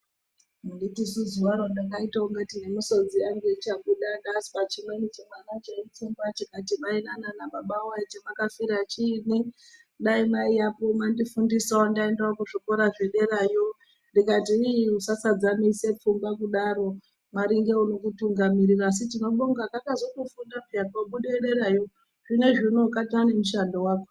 Anditisu zuwa ro ndakaite kungati nemisodzi yangu ichabuda ndazwa chimwana chimweni cheitsumba chikati mainana nababa woye chamwakafira chiinyi dai mwaiyapo ndaendawo kuzvikora zvederayo ndikati ii usasadzamise pfungwa kudaro mwari ngeunokutungamira asi tinobonga kakazotofunda peya kobude derayo zvinoizvi kataanemushando wako.